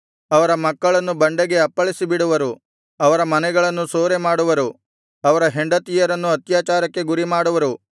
ಅವರ ಮಕ್ಕಳನ್ನು ಬಂಡೆಗೆ ಅಪ್ಪಳಿಸಿ ಬಿಡುವರು ಅವರ ಮನೆಗಳನ್ನು ಸೂರೆಮಾಡುವರು ಅವರ ಹೆಂಡತಿಯರನ್ನು ಅತ್ಯಾಚಾರಕ್ಕೆ ಗುರಿಮಾಡುವರು